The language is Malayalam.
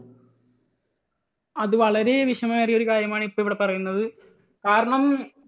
അത് വളരെ വിഷമമേറിയ ഒരു കാര്യമാണ് ഇവിടെ ഇപ്പോൾ പറയുന്നത്. കാരണം